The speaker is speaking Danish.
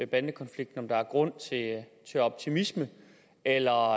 bandekonflikten at der er grund til optimisme eller